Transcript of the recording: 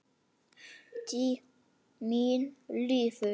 Tíminn líður.